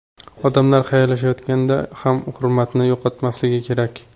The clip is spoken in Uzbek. Odamlar xayrlashayotganda ham hurmatni yo‘qotmasligi kerak.